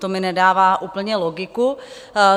To mi nedává úplně logiku.